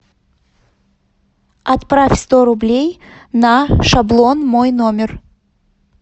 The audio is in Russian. отправь сто рублей на шаблон мой номер